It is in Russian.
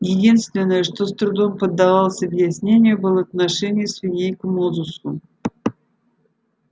единственное что с трудом поддавалось объяснению было отношение свиней к мозусу